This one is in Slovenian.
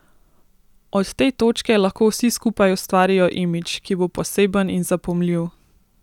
Od te točke lahko vsi skupaj ustvarijo imidž, ki bo poseben in zapomljiv.